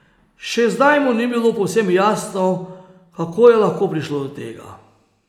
Še zdaj mu ni bilo povsem jasno, kako je lahko prišlo do tega.